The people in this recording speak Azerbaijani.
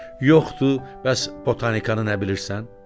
Yoxdur, bəs botanikanı nə bilirsən?